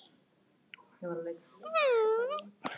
Hugrún, hvaða myndir eru í bíó á miðvikudaginn?